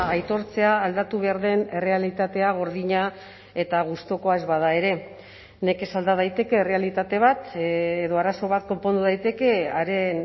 aitortzea aldatu behar den errealitatea gordina eta gustukoa ez bada ere nekez alda daiteke errealitate bat edo arazo bat konpondu daiteke haren